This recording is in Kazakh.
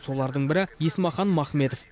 солардың бірі есмақан махметов